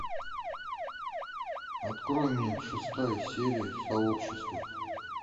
открой мне шестая серия сообщество